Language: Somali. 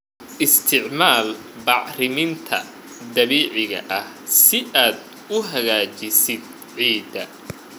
Isticmaal bacriminta dabiiciga ah si aad u hagaajisid ciidda.